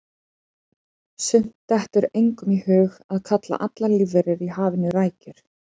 Samt dettur engum í hug að kalla allar lífverur í hafinu rækjur.